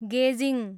गेजिङ